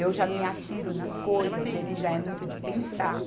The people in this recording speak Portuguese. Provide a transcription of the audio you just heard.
eu já me atiro nas coisas, ele já é muito de pensar.